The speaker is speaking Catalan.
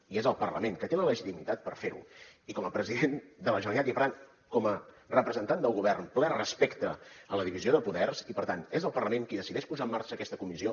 i és el parlament que té la legitimitat per fer ho i com a president de la generalitat i per tant com a representant del govern ple respecte a la divisió de poders i per tant és el parlament qui decideix posar en marxa aquesta comissió